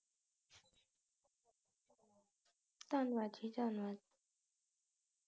ਧੰਨਵਾਦ ਜੀ ਧੰਨਵਾਦ